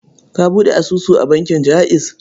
Ka buɗe asusu a bankin Jaiz.